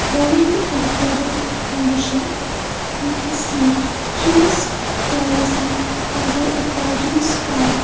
growing in a flooded condition we can see hills rising under a cloudy sky.